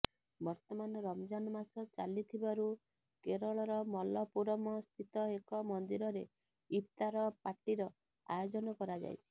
ବର୍ତ୍ତମାନ ରମଜାନ୍ ମାସ ଚାଲିଥିବାରୁ କେରଳର ମଲପୁରମସ୍ଥିତ ଏକ ମନ୍ଦିରରେ ଇଫତାର୍ ପାର୍ଟିର ଆୟୋଜନ କରାଯାଇଛି